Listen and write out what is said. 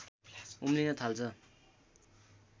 उम्लिन थाल्छ